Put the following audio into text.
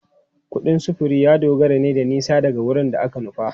Kudin sufuri ya dogara ne da nisa daga wurin da aka nufa.